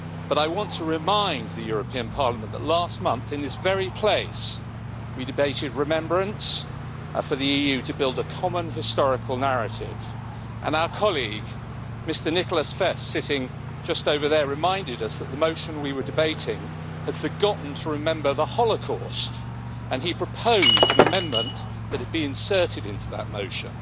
But I want to remind the European Parliament that last month, in this very place, we debated remembrance for the EU to build a common historical narrative, and our colleague, Mr Nicholas Fest, sitting just over there, reminded us that the motion that we were debating had forgotten to remember the holocaust, and he proposed an amendment that it be inserted into that motion.